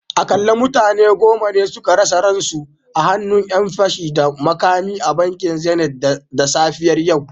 Akalla mutane goma ne suka rasa rayukansu a hannun ‘yan fashi da makami a bankin zenith da safiyar yau